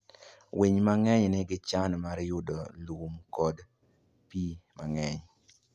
Winy mang'eny nigi chan mar yudo lum kod pi mang'eny.